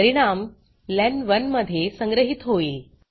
परिणाम लेन1 मध्ये संग्रहीत होईल